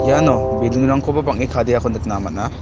iano balloon-rangkoba bang·e kadeako nikna man·a.